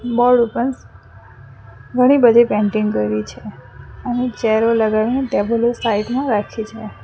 Board ઉપર ઘણી બધી પેન્ટિંગ કરેલી છે અને ચેરો લગાવીને ટેબલો સાઈડ માં રાખી છે.